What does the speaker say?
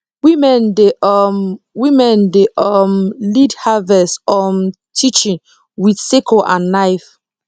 women dey um women dey um lead harvest um teaching with sickle and knife